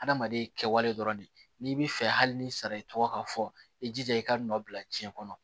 Adamaden kɛwale dɔrɔn de n'i bi fɛ hali n'i sara i tɔgɔ ka fɔ i jija i ka nɔ bila jiyɛn kɔnɔ